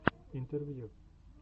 интервью